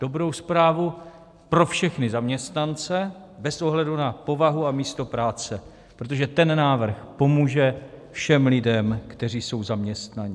Dobrou zprávu pro všechny zaměstnance bez ohledu na povahu a místo práce, protože ten návrh pomůže všem lidem, kteří jsou zaměstnaní.